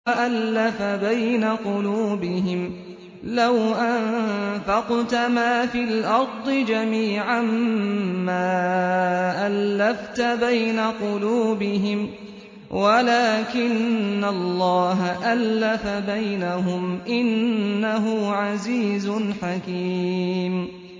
وَأَلَّفَ بَيْنَ قُلُوبِهِمْ ۚ لَوْ أَنفَقْتَ مَا فِي الْأَرْضِ جَمِيعًا مَّا أَلَّفْتَ بَيْنَ قُلُوبِهِمْ وَلَٰكِنَّ اللَّهَ أَلَّفَ بَيْنَهُمْ ۚ إِنَّهُ عَزِيزٌ حَكِيمٌ